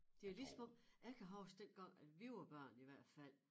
Det lige som om jeg kan huske dengang at vi var børn i hvert fald